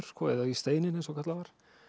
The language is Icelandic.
eða í steininn eins og kallað var